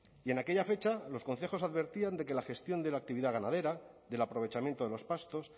y en aquella fecha los concejos advertían de que la gestión de la actividad ganadera del aprovechamiento de los pastos